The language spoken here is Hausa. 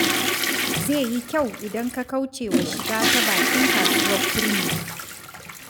Zai yi kyau idan ka kauce wa shiga ta bakin kasuwar Kurmi.